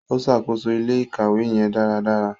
O ṣakoso ilé-ìkawe yẹn daradara.